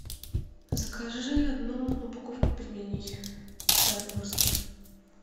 закажи одну упаковку пельменей стародворских